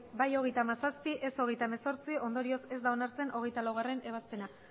bai hogeita hamazazpi ez hogeita hemezortzi ondorioz ez da onartzen hogeita laugarrena ebazpena